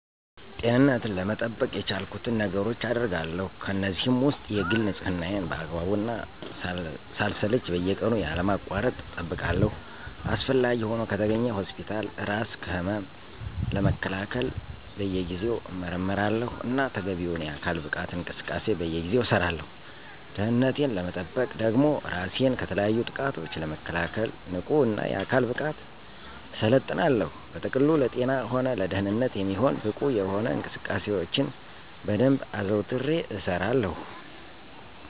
ጤንነቴን ለመጠበቅ የቻልኩትን ነገሮች አገርጋለሁ። ከእነዚህም ውስጥ የግል ንፅህናየን በአግባቡ እና ሳልሰለች በየቀኑ ያለማቋረጥ እጠብቃለሁ። አስፈላጊ ሆኖ ከተገኘ ሆስፒታል እራስ ከህመም ለመከላከል በየጊዜው እመረመራለሁ። እና ተገቢውን የአካል ብቃት እንቅስቃሴ በየጊዜው እሠራለሁ። ደህንነቴን ለመጠበቅ ደግሞ እራሴን ከተለያዩ ጥቃቶች ለመከላከል ንቁ እና የአካል ብቃት እሠለጥናለሁ። በጥቅሉ ለጤና ሆነ ለደንነት የሚሆን ብቁ የሆኑ እንቅስቃሴዎችን በደንብ አዘውትሬ እሰራለሁ።